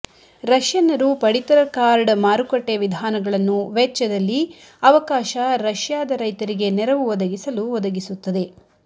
ರಷ್ಯನ್ನರು ಪಡಿತರ ಕಾರ್ಡ್ ಮಾರುಕಟ್ಟೆ ವಿಧಾನಗಳನ್ನು ವೆಚ್ಚದಲ್ಲಿ ಅವಕಾಶ ರಷ್ಯಾದ ರೈತರಿಗೆ ನೆರವು ಒದಗಿಸಲು ಒದಗಿಸುತ್ತದೆ